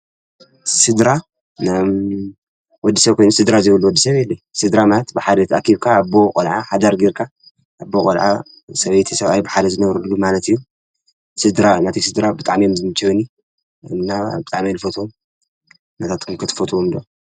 ስድራ ወዲ ሰብ በይኑ ስድራ ዘይብሉ ሰብ የለን። ስድራ ብሓደ ተኣኪብካ ኣቦ፣ ቆልዓ ሓዳር ጌርካ ኣዶ ቆልዓ ሰበይቲ፣ ሰብኣይ ብሓደ ዝነብርሉ ማለት እዩ። ስድራ ናተይ ስድራ ብጣዕሚ እዮም ዝምቸዩኒ እና ብጣሚ እየ ዝፈትዎም። ናትትኩም ከ ትፈትዉዎም ዶ?